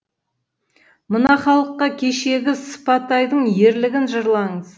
мына халыққа кешегі сыпатайдың ерлігін жырлаңыз